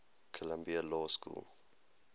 columbia law school